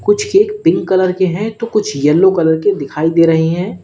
कुछ cake pink colour के हैं तो कुछ येलो कलर के दिखाई दे रहे हैं।